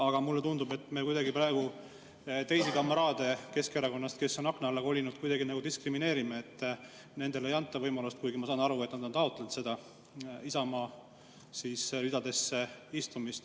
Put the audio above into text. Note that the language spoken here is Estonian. Aga mulle tundub, et me praegu kamraade Keskerakonnast, kes on akna alla kolinud, kuidagi diskrimineerime, sest nendele ei anta võimalust, kuigi, ma saan aru, nad on taotlenud Isamaa.